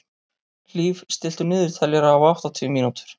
Hlíf, stilltu niðurteljara á áttatíu mínútur.